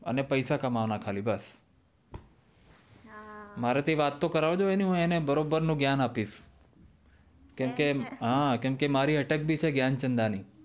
અને પેશા કામવા ના ખાલી બસ મારા થી વાત તો કરવાજો એની હું અને બરાબર નું જ્ઞાન આપીશ કેમ કે મારી અટક ભી છે જ્ઞાનચંદાની